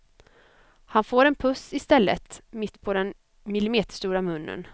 Han får en puss i stället, mitt på den millimeterstora munnen.